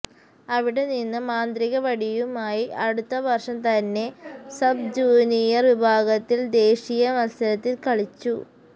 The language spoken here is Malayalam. അവിടെ നിന്ന് മാന്ത്രിക വടിയുമായി അടുത്തവര്ഷം തന്നെ സബ് ജൂനിയര് വിഭാഗത്തില് ദേശീയ മത്സരത്തില് കളിച്ചു